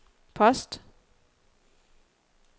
post